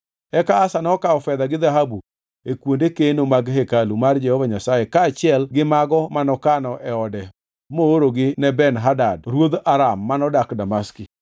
Eka Asa nokawo fedha gi dhahabu e kuonde keno mag hekalu mar Jehova Nyasaye kaachiel gi mago manokano e ode moorogi ne Ben-Hadad ruodh Aram manodak Damaski.